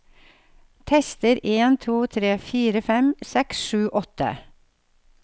Tester en to tre fire fem seks sju åtte